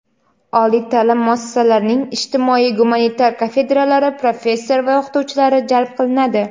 oliy ta’lim muassasalarining ijtimoiy gumanitar kafedralari professor va o‘qituvchilari jalb qilinadi;.